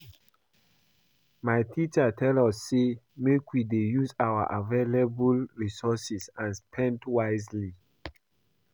My teacher tell us say make we dey use our available resources and spend wisely